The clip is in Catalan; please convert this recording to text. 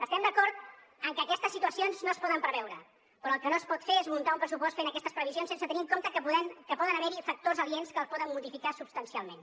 estem d’acord que aquestes situacions no es poden preveure però el que no es pot fer és muntar un pressupost fent aquestes previsions sense tenir en compte que poden haver hi factors aliens que els poden modificar substancialment